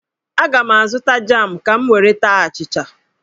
Aga m azụta jam ka m were taa achịcha.